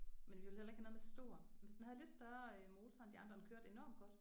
Men vi ville heller ikke have noget med stor og hvis havde lidt større øh motor end de andre og den kørte enormt godt